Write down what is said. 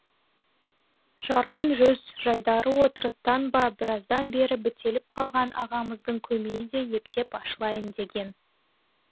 жарқын жүз жайдары отырыстан ба біраздан бері бітеліп қалған ағамыздың көмейі де ептеп ашылайын деген